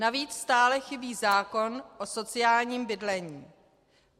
Navíc stále chybí zákon o sociálním bydlení.